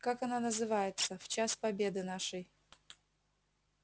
как она называется в час победы нашей